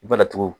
I bana tugun